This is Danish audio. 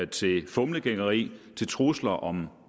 til fumlegængeri til trusler om